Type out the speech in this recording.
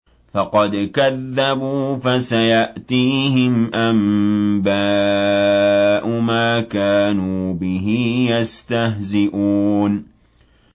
فَقَدْ كَذَّبُوا فَسَيَأْتِيهِمْ أَنبَاءُ مَا كَانُوا بِهِ يَسْتَهْزِئُونَ